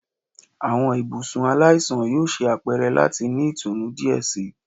Awọn ibusun alaisan yoo ṣe apẹrẹ lati ni itunu diẹ sii